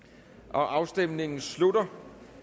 afstemningen slutter